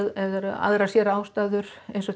aðrar sérástæður eins og